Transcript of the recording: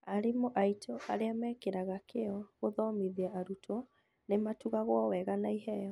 Arimũ aitũ arĩa mekĩraga kĩo gũthomithia arutwo nĩmatugagwo wega na iheo